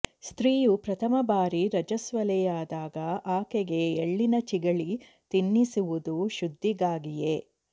ಸ್ತ್ರೀಯು ಪ್ರಥಮ ಬಾರಿ ರಜಸ್ವಲೆಯಾದಾಗ ಆಕೆಗೆ ಎಳ್ಳಿನ ಚಿಗಳಿ ತಿನ್ನಿಸುವುದು ಶುದ್ಧೀಗಾಗಿಯೇ